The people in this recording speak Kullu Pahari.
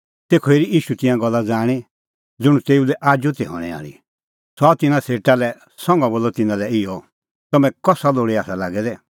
तेखअ हेरी ईशू तिंयां गल्ला ज़ाणीं ज़ुंण तेऊ लै आजू ती हणैं आल़ी सह आअ तिन्नां सेटा लै संघा बोलअ तिन्नां लै इहअ तम्हैं कसा लोल़ै आसा लागै दै